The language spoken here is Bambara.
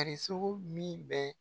sogo min bɛ